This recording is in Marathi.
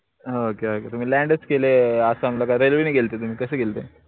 हो का की तुम्ही land च केले आसामला का railway नी गेल्ते तुम्ही कशे गेल्ते?